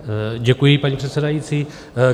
Děkuji, paní předsedající.